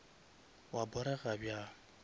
wa porega bjang